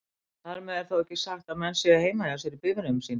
Þar með er þó ekki sagt að menn séu heima hjá sér í bifreiðum sínum.